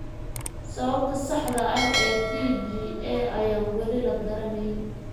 Sababta saxda ah ee TGA ayaan weli la garanayn.